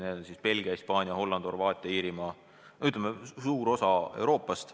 Need on Belgia, Hispaania, Holland, Horvaatia, Iirimaa – ütleme, et suur osa Euroopast.